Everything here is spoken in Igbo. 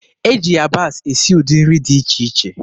E ji yabasị esi ụdị nri dị iche iche.